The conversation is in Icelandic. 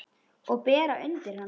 Og bera undir hana.